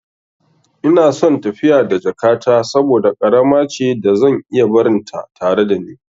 Ina son tafiya da jakata saboda ƙarama ce da zan iya barinta tare da ni.